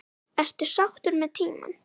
Ertu sáttur með tímann?